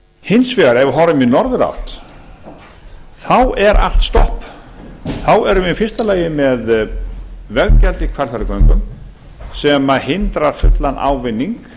hins vegar ef við horfum í norðurátt þá er allt stopp þá erum við í fyrsta lagi með veggjald í hvalfjarðargöngum sem hindra fullan ávinning